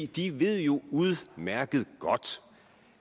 de ved jo udmærket godt